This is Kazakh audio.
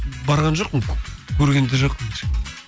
барған жоқпын көрген де жоқпын